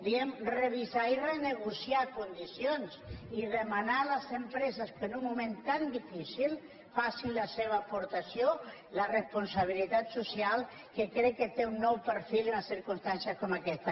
diem revisar i renegociar condicions i demanar a les empreses que en un moment tan difícil facin la seva aportació la responsabilitat social que crec que té un nou perfil i unes circumstàncies com aquestes